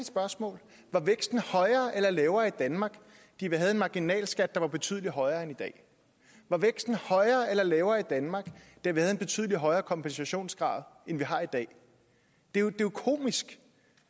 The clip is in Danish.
spørgsmål var væksten højere eller lavere i danmark da vi havde en marginalskat der var betydelig højere end i dag var væksten højere eller lavere i danmark da vi havde en betydelig højere kompensationsgrad end vi har i dag det er jo komisk